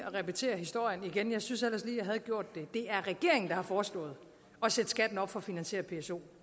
repetere historien jeg synes ellers lige jeg havde gjort det det er regeringen der har foreslået at sætte skatten op for at finansiere psoen